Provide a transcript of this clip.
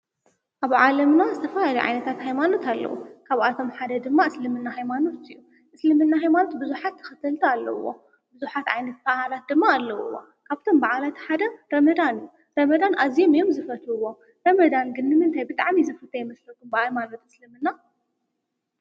ኣብ ዓለምና ዝተፈላለዩ ዓይነታት ሃይማኖት ኣለዉ፡፡ ካብኣቶም ሓደ ድማ እስልምና ሃይማኖት እዩ፡፡ እስልምና ሃይማኖት ብዙሓት ተኸተልቲ ኣለዉዎ፡፡ ብዙሓት ዓይነት በዓላት ድማ ኣለዉዎ፡፡ ካብቶም በዓላት ሓደ ረመዳን እዩ፡፡ ረመዳን ኣዝዮም እዮም ዝፈትውዎ፡፡ ረመዳን ግን እንታይ ብጣዕሚ ዝፍቶ ይመስለኩም ብሃይማኖት እስለምና?